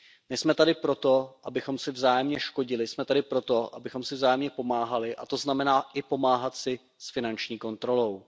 Nejsme tady proto, abychom si vzájemně škodili, jsme tady proto, abychom si vzájemně pomáhali, a to znamená i pomáhat si s finanční kontrolou.